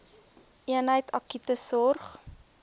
eenheid akute sorg